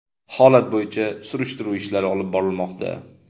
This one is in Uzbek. Holat bo‘yicha surishtiruv ishlari olib borilmoqda.